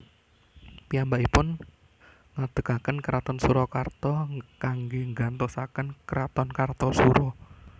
Piyambakipun ngadegaken kraton Surakarta kanggé nggantosaken kraton Kartasura